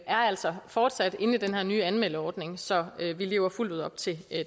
altså fortsat inde i den her nye anmeldeordning så vi lever fuldt ud op til